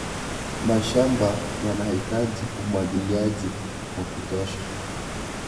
Mashamba yanahitaji umwagiliaji wa kutosha.